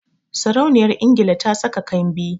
Sarauniyar Ingila ta saka kambi